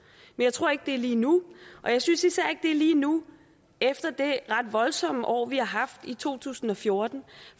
jeg tror ikke det er lige nu og jeg synes især ikke er lige nu efter det ret voldsomme år vi har haft i to tusind og fjorten